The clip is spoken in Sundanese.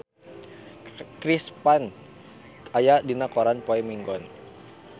Chris Pane aya dina koran poe Minggon